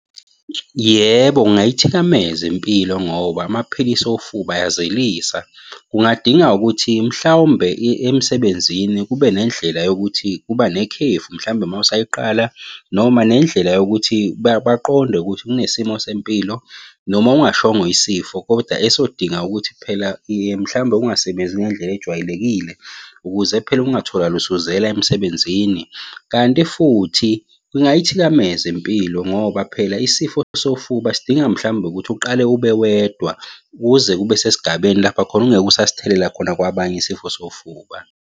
Yebo, kungayithikameza impilo ngoba amaphilisi ofuba ayazelisa. Kungadinga ukuthi mhlawumbe emsebenzini kube nendlela yokuthi kuba nekhefu. Mhlawumbe uma usayiqala noma nendlela yokuthi baqonde ukuthi kunesimo sempilo, noma ungashongo isifo, koda esodinga ukuthi phela mhlawumbe ungasebenzi ngendlela ejwayelekile ukuze phela ungatholakali usuzela emsebenzini, kanti futhi kungayithikameza impilo, ngoba phela isifo sofuba sidinga mhlawumbe ukuthi uqale ube wedwa. Kuze kube sesigabeni lapha khona ungeke usasithelela khona kwabanye isifo sofuba.